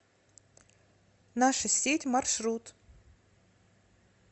наша сеть маршрут